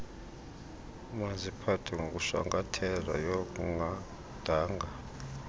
maziphathwe ngokushwankathelayo kungadanga